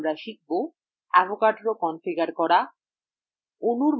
in tutorial আমরা শিখব avogadro configure করা